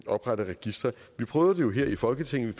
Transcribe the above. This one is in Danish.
oprette registre vi prøvede det jo her i folketinget